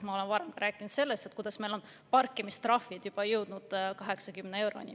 Ma olen varem rääkinud sellest, kuidas meil on parkimistrahvid juba jõudnud 80 euroni.